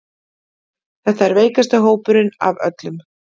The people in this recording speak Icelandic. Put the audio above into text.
Þetta er veikasti hópurinn af öllum